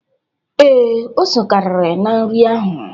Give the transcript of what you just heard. Ee, ose karịrị na nri ahụ.